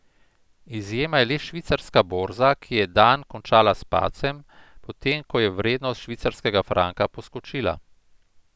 Izjema je le švicarska borza, ki je dan končala s padcem, potem ko je vrednost švicarskega franka poskočila.